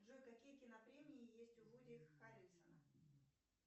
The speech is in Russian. джой какие кинопремии есть у вуди харрельсона